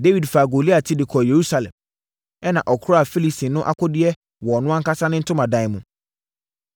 Dawid faa Goliat ti de kɔɔ Yerusalem, ɛna ɔkoraa Filistini no akodeɛ wɔ ɔno ankasa ne ntomadan mu.